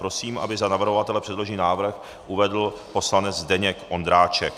Prosím, aby za navrhovatele předložený návrh uvedl poslanec Zdeněk Ondráček.